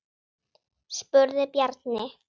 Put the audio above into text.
spurði Bjarni.